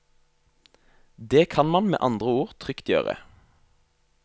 Det kan man med andre ord trygt gjøre.